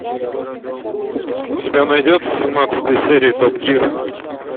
у тебя найдется семнадцатая серия топ гир